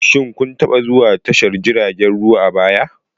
Shin kun taba zuwa tashar jiragen ruwa a baya?